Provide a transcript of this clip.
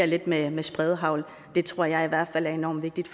lidt med med spredehagl det tror jeg i hvert fald er enormt vigtigt